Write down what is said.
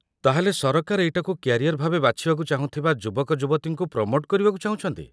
ତା'ହେଲେ ସରକାର ଏଇଟାକୁ କ୍ୟାରିୟର୍ ଭାବେ ବାଛିବାକୁ ଚାହୁଁଥିବା ଯୁବକଯୁବତୀଙ୍କୁ ପ୍ରମୋଟ୍ କରିବାକୁ ଚାହୁଁଛନ୍ତି ।